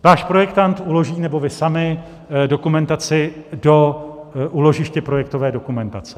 Váš projekt uloží, nebo vy sami, dokumentaci do úložiště projektové dokumentace.